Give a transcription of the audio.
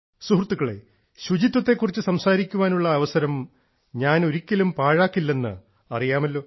സുഹൃത്തുക്കളെ ശുചിത്വത്തെക്കുറിച്ച് സംസാരിക്കാനുള്ള അവസരം ഞാൻ ഒരിക്കലും പാഴാക്കുകയില്ല എന്ന് അറിയാമല്ലോ